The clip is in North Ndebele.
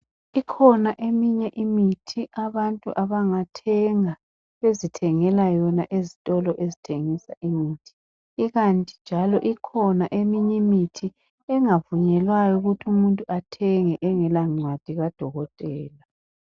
Ikhona eminye imithi ,abantu abangathenga bezithengela yona ezitolo ezithengisa imithi. Ikanti njalo ikhona eminyi mithi ,engavunyelwayo ukuthi umuntu athenge engelancwadi kadokotela.